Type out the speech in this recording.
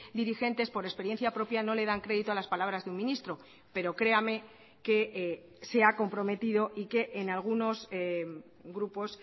dirigentes por experiencia propia no le dan crédito a las palabras de un ministro pero créame que se ha comprometido y que en algunos grupos